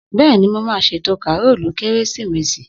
Bẹ́ẹ̀ni, mo máa ṣètò kàrólù kérésìmesì